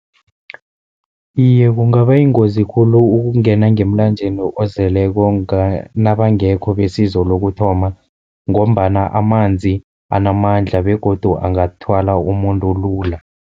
Iye, kungaba yingozi khulu ukungena ngemlanjeni ozeleko nabangekho besizo lokuthoma, ngombana amanzi anamandla begodu angathwala umuntu lula.